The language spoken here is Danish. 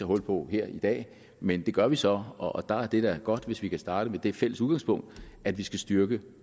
hul på her i dag men det gør vi så og der er det da godt hvis vi kan starte med det fælles udgangspunkt at vi skal styrke